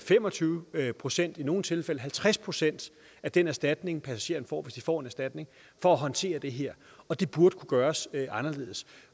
fem og tyve procent i nogle tilfælde halvtreds procent af den erstatning passagererne får hvis de får en erstatning for at håndtere det her og det burde kunne gøres anderledes